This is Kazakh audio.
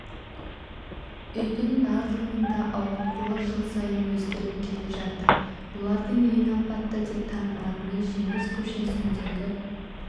үйдің барлығының да ауытқуы жыл сайын өзгеріп келе жатыр олардың ең апатты деп танылатыны жеңіс көшесіндегі